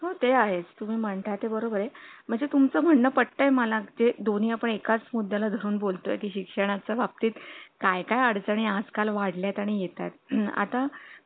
तर तू हात धुतलेस का म्हणजे आपल्या मुलाला जसं सांगतो तर तिथे मावशी असल्याने तर जास्त मुलांना सोपं जाईल म्हणजे एखादा मुलगा विसरतो किंवा कंटाळा करतो चला गड्या आई सांगती तर इथे कुठे आई आहे आपण तसंच करू